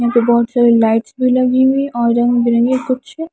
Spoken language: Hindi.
यहां पे बहोत सारी लाइट्स भी लगी हुई है और रंग बिरंगे कुछ--